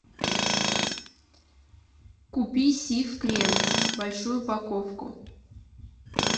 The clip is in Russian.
купи сиф крем большую упаковку